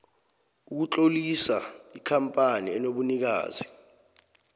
ukutlolisa ikampani enobunikazi